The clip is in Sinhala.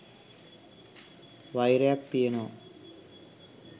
වෛරයක් තියෙනවා